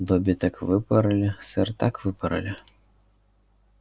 добби так выпороли сэр так выпороли